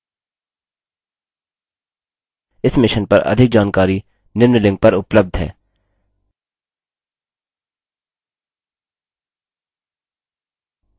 इस mission पर अधिक जानकारी निम्न लिंक पर उपलब्ध है